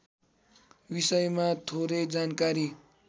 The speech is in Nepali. विषयमा थोरै जानकारी